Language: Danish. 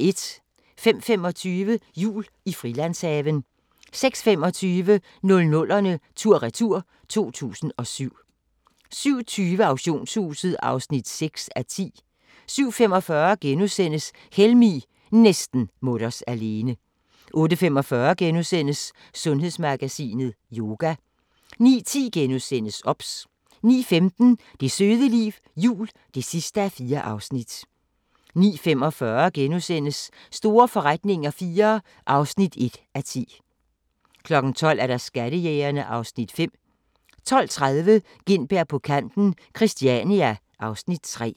05:25: Jul i Frilandshaven 06:25: 00'erne tur-retur: 2007 07:20: Auktionshuset (6:10) 07:45: Helmig – næsten mutters alene * 08:45: Sundhedsmagasinet: Yoga * 09:10: OBS * 09:15: Det søde liv – jul (4:4) 09:45: Store forretninger IV (1:10)* 12:00: Skattejægerne (Afs. 5) 12:30: Gintberg på kanten - Christania (Afs. 3)